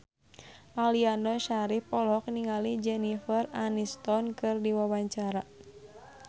Aliando Syarif olohok ningali Jennifer Aniston keur diwawancara